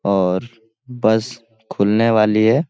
और बस खुलने वाली है।